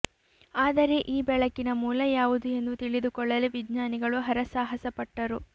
ಆದರೆ ಈ ಬೆಳಕಿನ ಮೂಲ ಯಾವುದು ಎಂದು ತಿಳಿದುಕೊಳ್ಳಲು ವಿಜ್ಞಾನಿಗಳು ಹರಸಾಹಸ ಪಟ್ಟರು